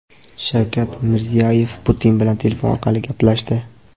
Shavkat Mirziyoyev Putin bilan telefon orqali gaplashdi.